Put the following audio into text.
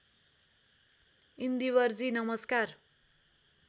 इन्दिवरजी नमस्कार